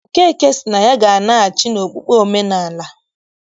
Okeke sị na ya ga-anaghachi n'okpukpe omenaala.